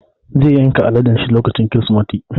Zai yanka aladen sa lokacin Kirsimeti